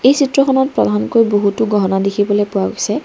এই চিত্ৰখনত প্ৰধানকৈ বহুতো গহনা দেখিবলৈ পোৱা গৈছে।